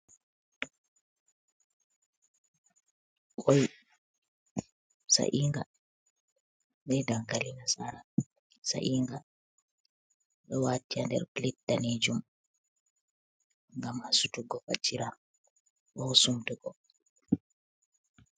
Ƙoi sa'inga, be dankali nasara sa'inga. Ɗo waati haa nder plate danejum ngam hasutuggo fajjira, bo sumtugo.